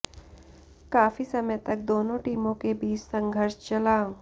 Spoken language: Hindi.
काफी समय तक दोनों टीमों के बीच संघर्ष चला